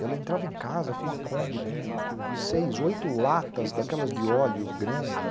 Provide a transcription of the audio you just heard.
E ela entrava em casa com a Kombi, com seis, oito latas daquelas de óleo grande, né?